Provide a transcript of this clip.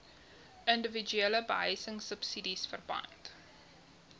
indiwiduele behuisingsubsidies verband